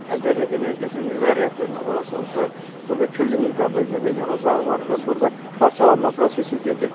Əgər energetik nüvə reaktoruna elə olsa-olsa, burda külli miqdarda nüvə yanacağı var və burda parçalanma prosesi gedir.